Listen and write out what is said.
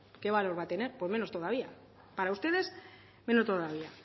qué valor va a tener pues menos todavía para ustedes menos todavía